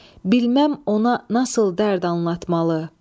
Bilməm ona nasıl dərd anlatmalı.